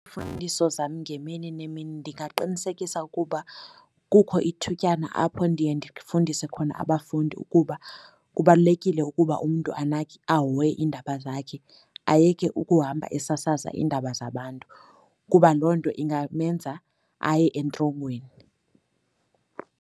zam ngemini nemini ndingaqinisekisa ukuba kukho ithutyana apho ndiye ndifundise khona abafundi ukuba kubalulekile ukuba umntu anake ahoye iindaba zakhe, ayeke ukuhamba esasaza iindaba zabantu, kuba loo nto ingamenza aye entrongweni.